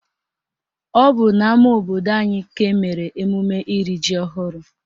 Ọ bụ n'ama obodo anyị ka emere emume iri ji ọhụrụ